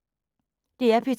DR P2